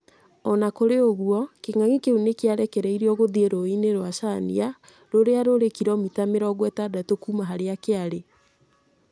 O na kũrĩ ũguo, King’ang’i kĩu nĩ kĩarekereirio gĩthiĩ rũũĩ-inĩ rwa Cania, rũrĩa rũrĩ kiromita mirongo ĩtandatu kuuma harĩa kĩarĩ.